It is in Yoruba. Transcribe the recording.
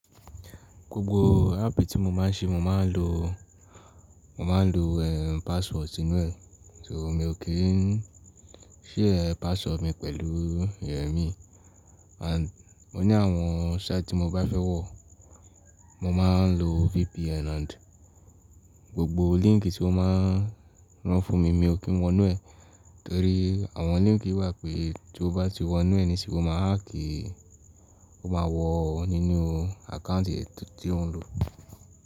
Gbogbo app tí mo máa ń ṣe mo máa ń lo, mo máa ń lo password si nu ẹ̀. So mi ò kí n ṣhare password mi pẹ̀lú eyan miii. And mo ní àwọn site tí mo bá fẹ́ wọ̀, mo máa ń lo VPN and gbogbo link tí ó máa ń rán fún mi mi ò kí ń wọ inú ẹ̀. Torí àwọn link wà pé tí o bá ti wọ inú ẹ ni si o máa hack, o máa wọ̀ ọ nínú account è tí ò ń lò.